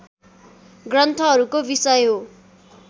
ग्रन्थहरूको विषय हो